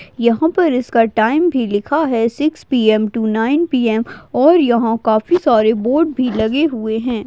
यहा पर इसका टाइम भी लिखा है six P M to nine P M और यहा काफी सारे बोर्ड भी लगे हुए है।